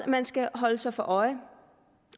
man skal holde sig for øje